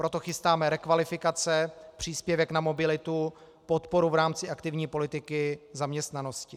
Proto chystáme rekvalifikace, příspěvek na mobilitu, podporu v rámci aktivní politiky zaměstnanosti.